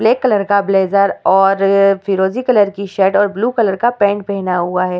Black colour का blazer और फिरोजी कलर की शर्ट और ब्लू कलर का पेंट पहना हुआ है।